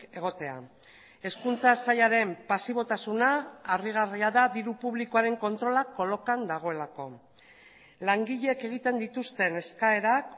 egotea hezkuntza sailaren pasibotasuna harrigarria da diru publikoaren kontrolak kolokan dagoelako langileek egiten dituzten eskaerak